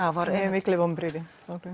mikil vonbrigði